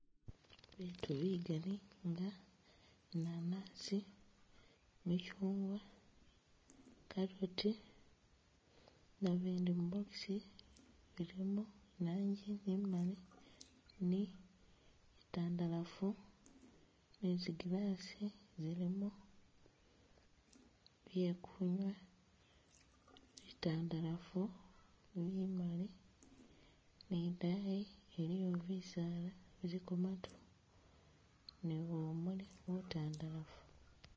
Bitu bigali nga inanasi, michungwa, carrot nabindi bu box bilimo irangi imali ni itandalafu, nizi glass zilimo byekunywa bitandalafu ni imali nidayi iliyo bisala biliko matu ni bumuli butandalafu.